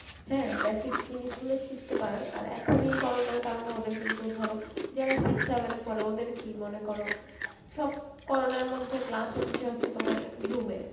হ্যাঁ basic জিনিসগুলো শিখতে পারার আর এখনই corona র কারণে ওদের কিন্তু ধরো যারা six seven এ পরে ওদের কি মনে কর সব corona র মধ্যে class হচ্ছে, হচ্ছে তোমার zoom এ